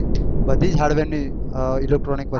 બધી જ hardware ની electronic વસ્તુ